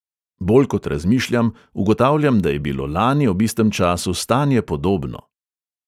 Bolj kot razmišljam, ugotavljam, da je bilo lani ob istem času stanje podobno.